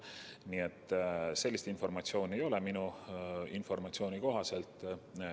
Nii et sellist informatsiooni minul ei ole.